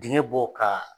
Dingɛ bɔ ka